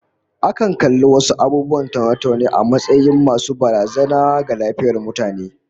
Akan kalli wasu abubuwan taune-taune a matsayin masu barazana ga lafiyar mutane